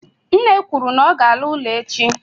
nne kwuru na ọ ga-ala ụlọ echi.